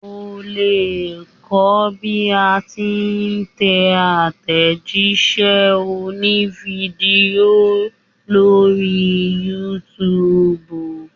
O lè kọ́ bí a ti ń tẹ àtẹ̀jíṣẹ́ òní fídíò lórí youtube.